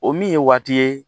O min ye waati ye